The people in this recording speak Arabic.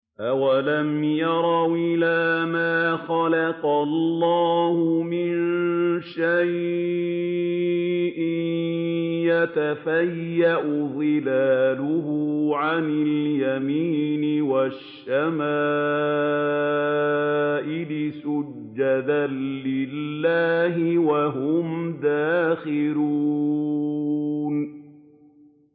أَوَلَمْ يَرَوْا إِلَىٰ مَا خَلَقَ اللَّهُ مِن شَيْءٍ يَتَفَيَّأُ ظِلَالُهُ عَنِ الْيَمِينِ وَالشَّمَائِلِ سُجَّدًا لِّلَّهِ وَهُمْ دَاخِرُونَ